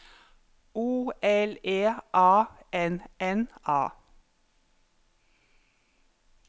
O L E A N N A